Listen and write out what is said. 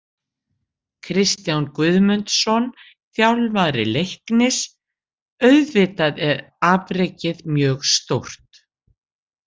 Kristján Guðmundsson, þjálfari Leiknis: Auðvitað er afrekið mjög stórt.